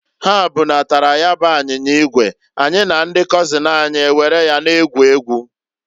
Ha bunatara ya bu anyinya igwe, anyị na ndị kọzin anyị ewere ya na-egwu egwu.